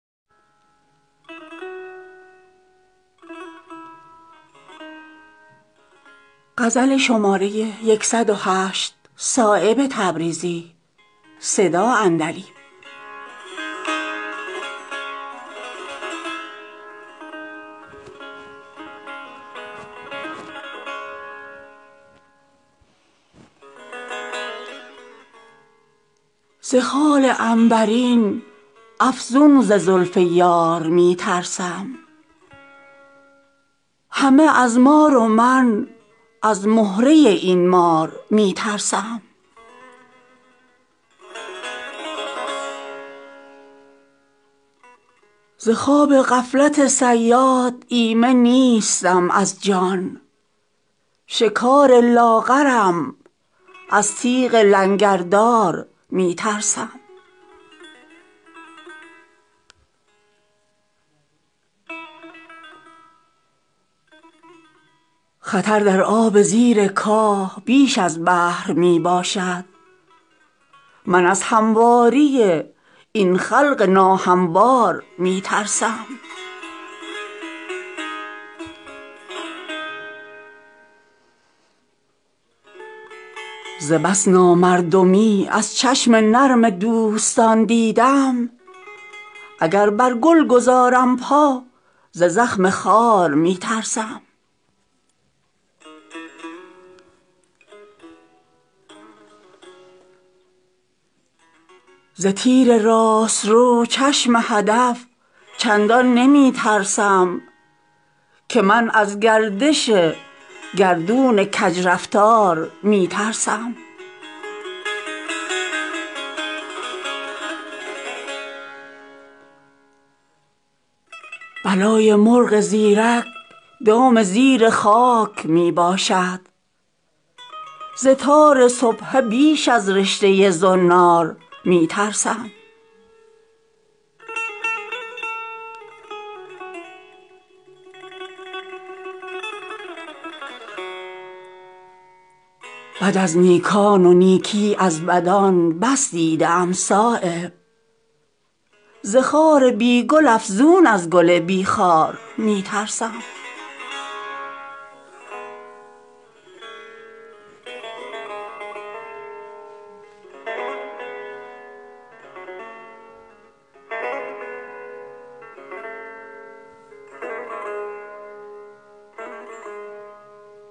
ز خال عنبرین افزون ز زلف یار می ترسم همه از مار و من از مهره این مار می ترسم بلای مرغ زیرک دام زیر خاک می باشد ز تار سبحه بیش از رشته زنار می ترسم از آن چون شبنم گل خواب در چشمم نمی گردد که از چشم تماشایی بر این گلزار می ترسم به گرد چشم او گشتن چو مژگان آرزو دارم ز خوی نازک آن نرگس بیمار می ترسم ز خواب غفلت صیاد ایمن نیستم بر جان شکار لاغرم از تیغ لنگردار می ترسم خطر در آب زیر کاه بیش از بحر می باشد من از همواری این خلق ناهموار می ترسم ز بس نامردمی از چشم نرم مردمان دیدم اگر بر گل گذارم پا ز زخم خار می ترسم چه باشد پشت و روی اژدها در پله بینش نه از اقبال می بالم نه از ادبار می ترسم ز تیر راست رو چشم هدف چندان نمی ترسد که من از گردش گردون کج رفتار می ترسم سرشک گرم را در پرده دل می کنم پنهان بر آب این گهر از سردی بازار می ترسم بد از نیکان و نیکی از بدان پر دیده ام صایب ز خار بی گل افزون از گل بی خار می ترسم